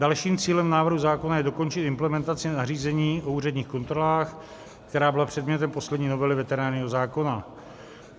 Dalším cílem návrhu zákona je dokončit implementaci nařízení o úředních kontrolách, která byla předmětem poslední novely veterinárního zákona.